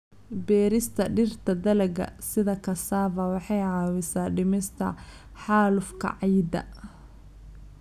Beerista dhirta dalagga sida cassava waxay caawisaa dhimista xaalufka ciidda.